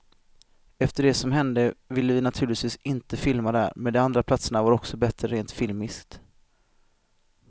Efter det som hände ville vi naturligtvis inte filma där, men de andra platserna var också bättre rent filmiskt.